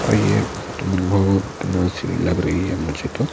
और ये बहुत मनभव नर्सी लग रही हैमुझे तो--